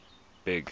big